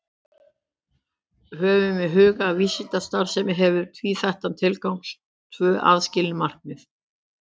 Höfum í huga að vísindastarfsemi hefur tvíþættan tilgang, tvö aðskilin markmið.